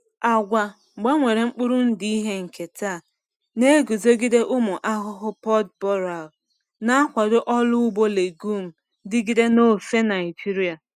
Agwa gbanwere mkpụrụ ndụ ihe nketa na-eguzogide ụmụ ahụhụ pod borer, na-akwado ọrụ ugbo legume dịgide n’ofe Naijiria.